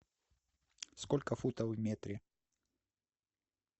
сколько футов в метре